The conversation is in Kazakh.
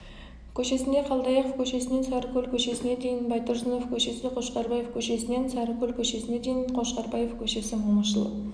көшесінде қалдаяқов көшесінен сарыкөл көшесіне дейін байтұрсынов көшесіқошқарбаев көшесінен сарыкөл көшесіне дейін қошқарбаев көшесі момышұлы